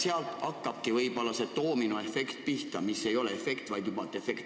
Nii tekib võib-olla doominoefekt, mis paraku ei ole efekt, vaid juba defekt.